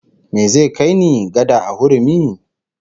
Me zai kai ni, gada a hurumi?